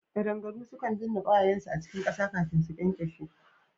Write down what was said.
Kadangaru sukan binna kwayayensu a cikin kasa kafin su ƙyanƙyashe